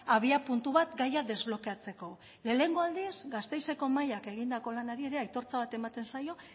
abiapuntu bat gaia desblokeatzeko lehenengo aldiz gasteizeko mahaiak egindako lanari ere aitortza bat ematen zaio